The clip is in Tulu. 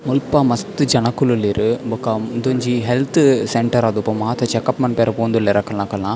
ಮುಲ್ಪ ಮಸ್ತ್ ಜನೊಕುಲುಲ್ಲೆರ್ ಬೊಕ ಉಂದೊಂಜಿ ಹೆಲ್ತ್ ಸೆಂಟರ್ ಆದುಪ್ಪು ಮಾತ ಚೆಕಪ್ಪ್ ಮನ್ಪರೆ ಪೋವೊಂದುಲ್ಲೆರ್ ಅಕಲ್ನಕಲ್ನ.